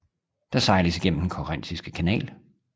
Der sejles igennem den Korinthiske kanal